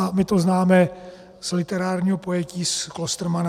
A my to známe z literárního pojetí z Klostermanna.